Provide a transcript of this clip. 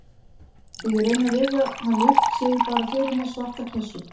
Þegar ég reyni að rifja hann upp sé ég bara fyrir mér svarta klessu.